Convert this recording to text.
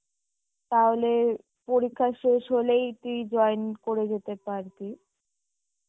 তাহলে, পরীক্ষা শেষ হলেই তুই join করে যেতে পারবি